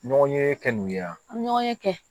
Ɲɔgɔn ye kɛ n ye yan ɲɔgɔnye kɛ